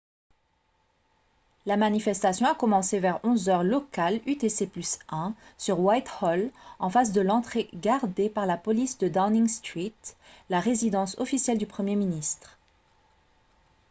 la manifestation a commencé vers 11 h heure locale utc+1 sur whitehall en face de l'entrée gardée par la police de downing street la résidence officielle du premier ministre